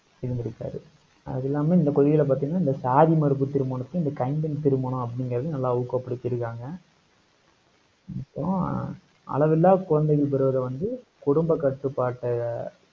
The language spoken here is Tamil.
இருந்திருக்காரு அது இல்லாமல், இந்த கொள்கையில பார்த்தீங்கன்னா, இந்த சாதி மறுப்பு திருமணத்தை, இந்த கைம்பெண் திருமணம் அப்படிங்கிறதையும், நல்லா ஊக்கப்படுத்திருக்காங்க, அப்புறம் அளவில்லா குழந்தைகள் பெறுவதை வந்து, குடும்ப கட்டுப்பாட்டை அஹ்